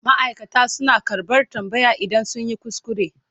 Ma'aikata suna karɓar tambaya idan sun yi kuskure.